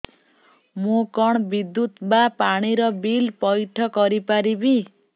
ମୁ କଣ ବିଦ୍ୟୁତ ବା ପାଣି ର ବିଲ ପଇଠ କରି ପାରିବି